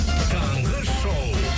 таңғы шоу